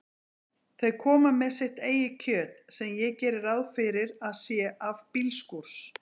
Þau koma með sitt eigið kjöt, sem ég geri ráð fyrir að sé af bílskúrs